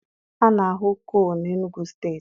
A na-ahụ coal n'Enugwu steeti.